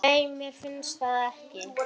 Nei, mér finnst það ekki.